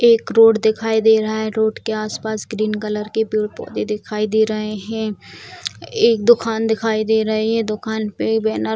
एक रोड दिखाई दे रहा है रोड के आसपास ग्रीन कलर के पेड़-पौधे दिखाई दे रहे है एक दोकान दिखाई दे रहे है दोकान पे बैनर --